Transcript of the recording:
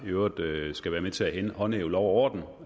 i øvrigt skal være med til at håndhæve lov og orden